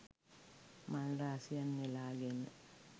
මල් රාශියක් නෙලා ගෙන